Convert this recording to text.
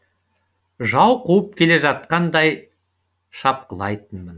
жау қуып келе жатқандай шапқылайтын